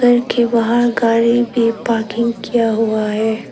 घर के बाहर गाड़ी भी पार्किंग किया हुआ है।